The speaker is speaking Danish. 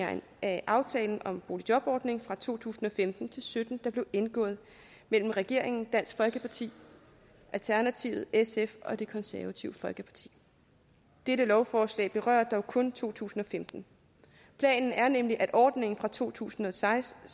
af aftale om boligjobordningen for to tusind og femten til sytten der blev indgået mellem regeringen dansk folkeparti alternativet sf og det konservative folkeparti dette lovforslag vedrører dog kun to tusind og femten planen er nemlig at ordningen fra to tusind og seksten og